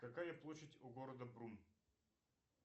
какая площадь у города брун